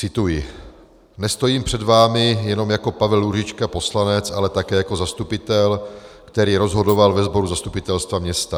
Cituji: Nestojím před vámi jenom jako Pavel Růžička poslanec, ale také jako zastupitel, který rozhodoval ve sboru zastupitelstva města.